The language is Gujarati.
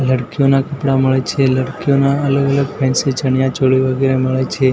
લડકીયોના કપડા મળે છે લડકીયોના અલગ અલગ ફેન્સી ચણિયાચોરી વગેરા મળે છે.